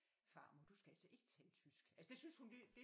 Farmor du skal altså ikke tale tysk altså det synes hun det